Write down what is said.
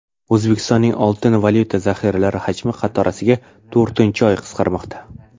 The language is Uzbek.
O‘zbekistonning oltin-valyuta zaxiralari hajmi qatorasiga to‘rtinchi oy qisqarmoqda.